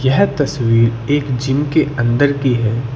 यह तस्वीर एक जिम के अंदर की है।